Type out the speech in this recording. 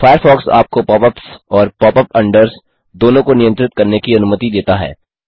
Firefox आपको pop ups और pop unders दोनों को नियंत्रित करने की अनुमति देता है